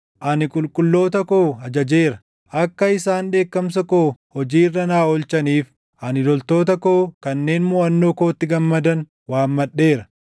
Ani qulqulloota koo ajajeera; akka isaan dheekkamsa koo hojii irra naa oolchaniif ani loltoota koo kanneen moʼannoo kootti gammadan // waammadheera.